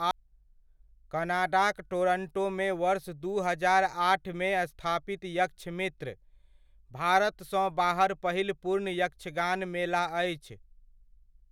कनाडाक टोरंटोमे वर्ष दू हजार आठमे स्थापित यक्षमित्र, भारतसँ बाहर पहिल पूर्ण यक्षगान मेला अछि।